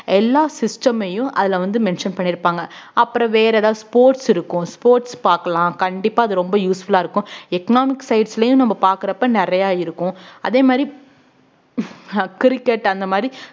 எல்லா system ஐயும் அதுல வந்து mention பண்ணி இருப்பாங்க அப்புறம் வேற ஏதாவது sports இருக்கும் sports பார்க்கலாம் கண்டிப்பா அது ரொம்ப useful ஆ இருக்கும் economic sites லயும் நம்ம பாக்குறப்ப நிறைய இருக்கும் அதே மாதிரி அஹ் cricket அந்த மாதிரி